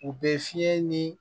U bɛ fiɲɛ ni